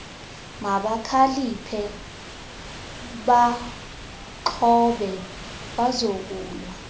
mabakhaliphe baaxhobe bazokulwa